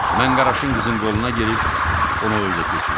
Mən Qaraşın qızın qoluna girib onu o özə keçirdim.